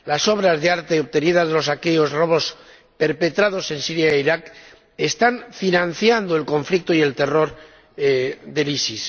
Las obras de arte obtenidas de los saqueos y robos perpetrados en Siria e Irak están financiando el conflicto y el terror del ISIS.